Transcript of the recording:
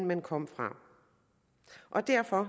man kommer fra derfor